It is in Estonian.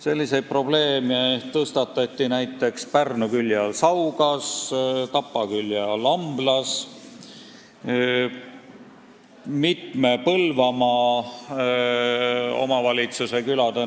Selliseid probleeme tõstatati näiteks Pärnu külje all Saugas, Tapa külje all Amblas ja mitme Põlvamaa omavalitsuse külades.